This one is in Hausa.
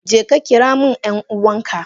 Jeka kiramin yan uwanka.